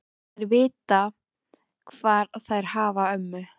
Þær vita hvar þær hafa ömmu.